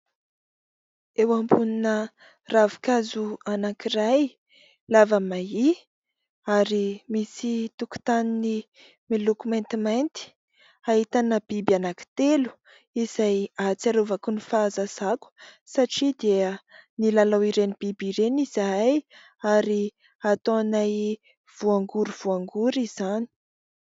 Eo ambonina ravin-kazo anakiray lava mahia, ary misy tokontany miloko maintimainty ahitana biby anankitelo izay hahatsiarovako ny fahazazako satria dia nilalao ireny biby ireny izahay ary ataonay voangory voangory izany.